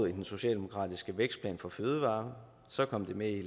i den socialdemokratiske vækstplan for fødevarer så kom det med i